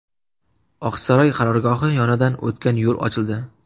Oqsaroy qarorgohi yonidan o‘tgan yo‘l ochildi.